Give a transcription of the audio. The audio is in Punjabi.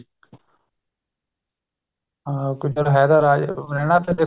ਹਾਂ ਕਿੱਦਾਂ ਹੈ ਤਾਂ ਰਾਜਾ ਮਿਲਣਾ ਤਾਂ ਦੇਖੋ